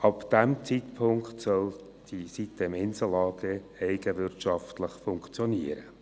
Ab diesem Zeitpunkt soll die sitem-Insel AG eigenwirtschaftlich funktionieren.